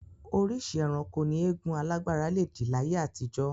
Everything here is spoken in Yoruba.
Oríṣìí ẹranko ni eégún alágbára le dì láyé àtijọ́